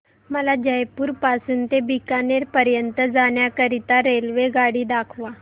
मला जयपुर पासून ते बीकानेर पर्यंत जाण्या करीता रेल्वेगाडी दाखवा